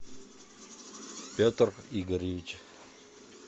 петр игоревич